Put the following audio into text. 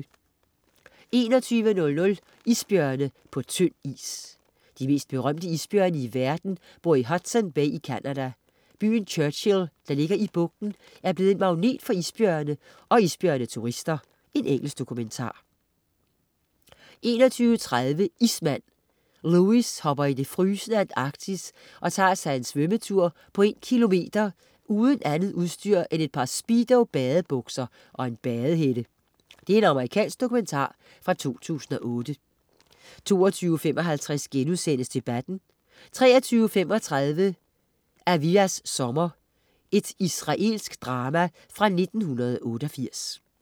21.00 Isbjørne på tynd is. De mest berømte isbjørne i verden bor i Hudson Bay i Canada. Byen Churchill, der ligger i bugten, er blevet en magnet for isbjørne og isbjørne-turister. Engelsk dokumentar 21.30 Ismand. Lewis hopper i det frysende Antarktis og tager sig en svømmetur på en kilometer uden andet udstyr end et par Speedo badebukser og en badehætte. Amerikansk dokumentar fra 2008 22.55 Debatten* 23.35 Aviyas sommer. Israelsk drama fra 1988